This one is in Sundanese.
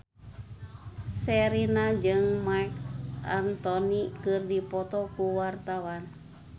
Sherina jeung Marc Anthony keur dipoto ku wartawan